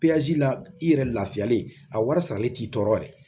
la i yɛrɛ lafiyalen a wari sarali t'i tɔɔrɔ yɛrɛ